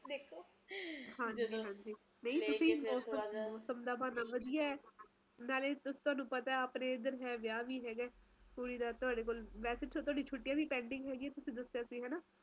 ਤਿੰਨ ਮਹੀਨੇ ਰਹਿੰਦੀਆਂ ਬਰਸਾਤ ਕਿਸੇ ਵੀ time ਆ ਜਾਂਦੇ ਹੈ ਪਤਾ ਨੀ ਹੁੰਦਾ ਗਰਮੀ ਅੱਗੇ ਮਈ ਤੋਂ ਸ਼ੁਰੂ ਹੁੰਦੀ ਸੀ ਤੇ ਅਗਸਤ ਵਿਚ ਖਤਮ ਹੋ ਜਾਂਦੇ ਸੀ